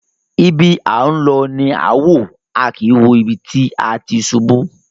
Ibi à ń lọ ni à wò, a kìí wo ibi tí a ti ṣubú.